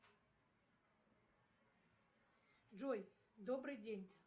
джой добрый день